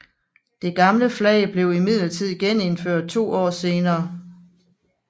Det gamle flag blev imidlertid genindført to år senere